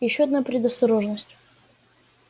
и ещё одна предосторожность